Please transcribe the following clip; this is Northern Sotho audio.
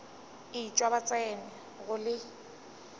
etšwa ba tsena go le